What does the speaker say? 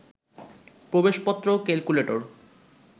প্রবেশপত্র, calculator